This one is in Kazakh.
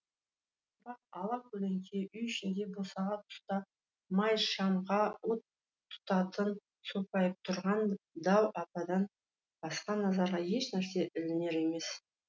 бірақ ала көлеңке үй ішінде босаға тұста май шамға от тұтатып сопайып тұрған дәу ападан басқа назарға еш нәрсе ілінер емес